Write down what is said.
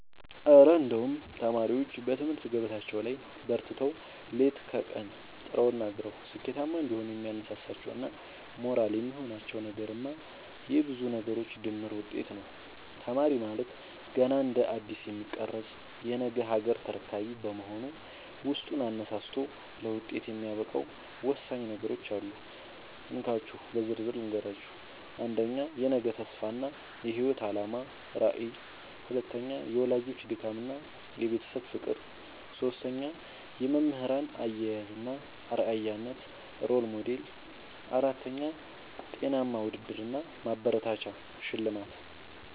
እረ እንደው ተማሪዎች በትምህርት ገበታቸው ላይ በርትተው፣ ሌት ከቀን ጥረውና ግረው ስኬታማ እንዲሆኑ የሚያነሳሳቸውና ሞራል የሚሆናቸው ነገርማ የብዙ ነገሮች ድምር ውጤት ነው! ተማሪ ማለት ገና እንደ አዲስ የሚቀረጽ የነገ ሀገር ተረካቢ በመሆኑ፣ ውስጡን አነሳስቶ ለውጤት የሚያበቃው ወሳኝ ነገሮች አሉ፤ እንካችሁ በዝርዝር ልንገራችሁ - 1. የነገ ተስፋ እና የህይወት አላማ (ራዕይ) 2. የወላጆች ድካምና የቤተሰብ ፍቅር 3. የመምህራን አያያዝ እና አርአያነት (Role Model) 4. ጤናማ ውድድር እና ማበረታቻ (ሽልማት)